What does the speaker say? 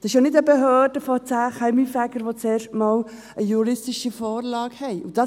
Es ist ja nicht eine Behörde von zehn Kaminfegern, welche das erste Mal eine juristische Vorlage hat.